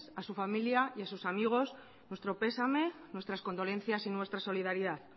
a su familia y a sus amigos nuestro pesame nuestras condolencias y nuestra solidaridad